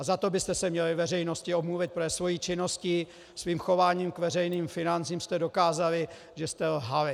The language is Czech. A za to byste se měli veřejnosti omluvit, protože svou činností, svým chováním k veřejným financím jste dokázali, že jste lhali.